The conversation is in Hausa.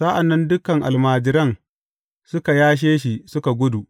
Sa’an nan dukan almajiran suka yashe shi suka gudu.